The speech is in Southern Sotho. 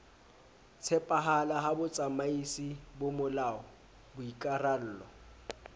tshepahala ha botsamaisi bomolao boikarallo